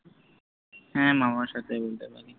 হ্য়াঁ মা বাবার সাথেও বলতে পারি